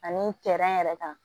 Ani yɛrɛ kan